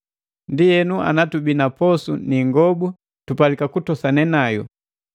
Ndienu ana tubii na posu ni ingobu, tupalika kutoseka nayu.